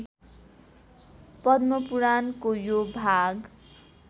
पद्मपुराणको यो भाग